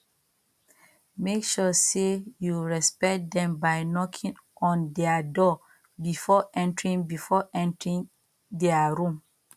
make sure sey you respect them by knocking on their door before entering before entering their room